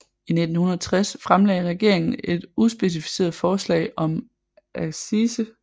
I 1660 fremlagde regeringen et uspecificeret forslag om accise